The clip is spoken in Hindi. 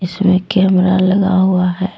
इसमें कैमरा लगा हुआ है।